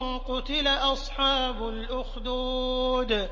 قُتِلَ أَصْحَابُ الْأُخْدُودِ